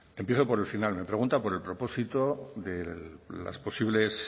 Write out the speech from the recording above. empiezo por el final me pregunta por el propósito de las posibles